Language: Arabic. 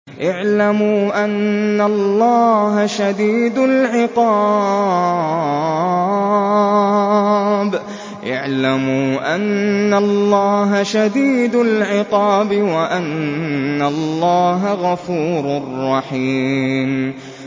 اعْلَمُوا أَنَّ اللَّهَ شَدِيدُ الْعِقَابِ وَأَنَّ اللَّهَ غَفُورٌ رَّحِيمٌ